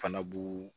Fana b'u